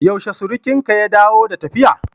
Yaushe surukinka ya dawo da tafiya?